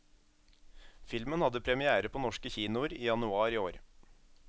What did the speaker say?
Filmen hadde première på norske kinoer i januar i år.